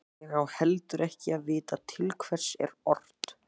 Ég á heldur ekki að vita til hvers er ort.